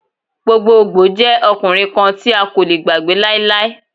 Gbogbogbo jẹ ọkunrin kan ti a ko le gbagbe lailai.